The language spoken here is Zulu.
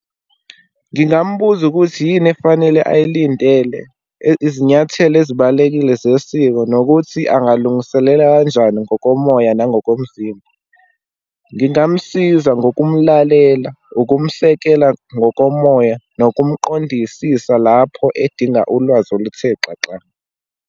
Ngingambuza ukuthi yini efanele ayilindele, izinyathelo ezibalulekile zesiko, nokuthi angalungiselela kanjani ngokomoya nangokomzimba, ngingamsiza ngokumlalela, ukumsekela ngokomoya, nokumqondisisa lapho edinga ulwazi oluthe xaxa.